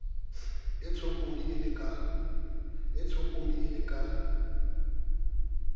e tshopodi e le ka